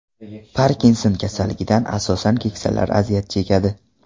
Parkinson kasalligidan asosan keksalar aziyat chekadi.